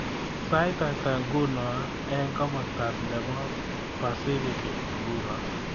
Sait atah nguno eng komostab nebo pasifikik nguno